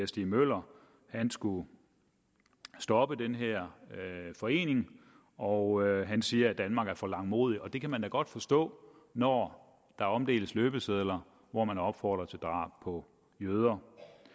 stig møller skulle stoppe den her forening og han siger at danmark er for langmodig det kan man da godt forstå når der omdeles løbesedler hvor man opfordrer til drab på jøder